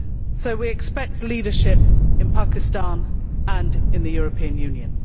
So we expect leadership in Pakistan and in the European Union.